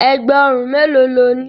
Ẹ̀gbà òrun mélòó lo ní?